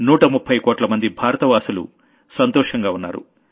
130 కోట్లమంది భారత వాసులు సంతోషంగా ఉన్నారు